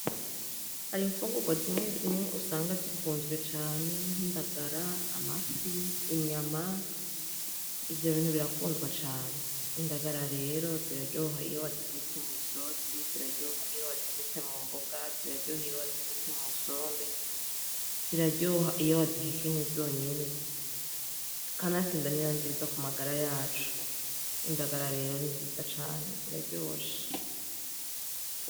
Hari imfungurwa zimwe zimwe usanga zikunzwe cane, nk'indagara, amafi, inyama. Ivyo bintu birakundwa cane. Indagara rero, ziraryoha iyo wazitetse mw'isosi, ziraryoha iyo wazitetse mu mboga, ziraryoha iyo wazitetse mu sombe. Ziraryoha iyo wazihekenye zonyene, kanatsinda ni na nziza ku magara yacu. Indagara rero, ni nziza cane ziraryoshe.